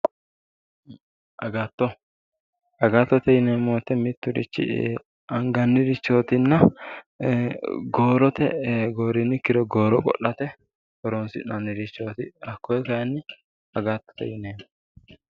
Agatto, agattote yinneemmo woyte miturichi anganirichotinna goorote ,goorini ikkiro gooro qo'late horonsi'nannirichoti hakkoe kayinni agattote yinneemmo.